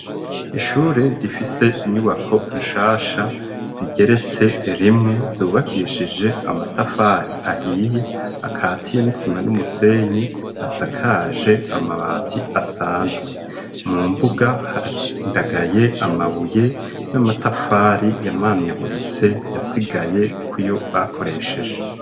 Ishure rifise inyubako nshasha zigeretse rimwe ,zubakishije amatafari ahiye ,akatiye n'isima n'umusenyi, asakaje amabati asanzwe, mu mbuga harandagaye amabuye, n'amatafari yamanyaguritse yasigaye ku yo bakoresheje.